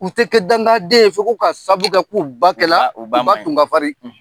U' tɛ kɛ dankanden ye fewu ko, ka sabu kɛ, k'u ba kɛla, u ba maɲi, u ba tun ka farin